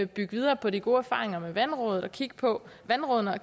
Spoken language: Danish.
bygge videre på de gode erfaringer med vandrådene og kigge på vandrådene og